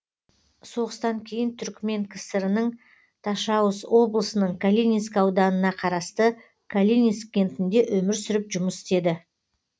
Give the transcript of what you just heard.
соғыстан кейін түрікмен кср ның ташауз облысының калининск ауданына қарасты калининск кентінде өмір сүріп жұмыс істеді